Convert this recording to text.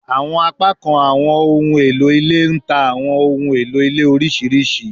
Awọn apakan awọn ohun elo ile n ta awọn ohun elo ile oriṣiriṣi